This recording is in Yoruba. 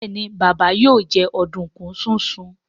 Béèni Baba yóò jẹ oduku sisùn.